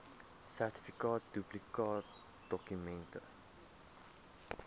sertifikaat duplikaatdokument ten